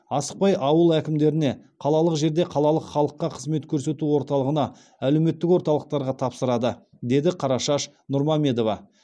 асықпай ауыл әкімдеріне қалалық жерде қалалық халыққа қызмет көрсету орталығына әлеуметтік орталықтарға тапсырады деді қарашаш нұрмамедова